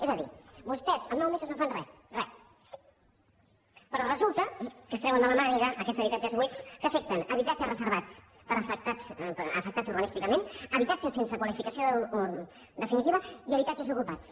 és a dir vostès en nou mesos no fan re re però resulta que es treuen de la màniga aquests habitatges buits que afecten habitatges reservats afectats urbanísticament habitatges sense qualificació definitiva i habitatges ocupats